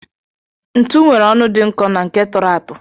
Ntu nwere ọnụ dị nkọ na nke tụrụ atụ